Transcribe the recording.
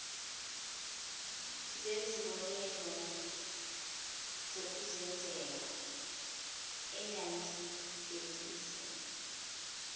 zezibonelo zokuzenzela engangibhekise